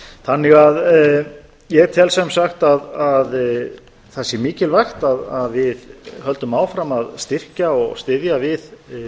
þannig að ég tel sem sagt að það sé mikilvægt að við höldum áfram að styrkja og styðja við